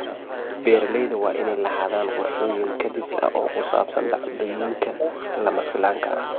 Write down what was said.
Beeralayda waa inay lahaadaan qorshooyin kadis ah oo ku saabsan dhacdooyinka lama filaanka ah.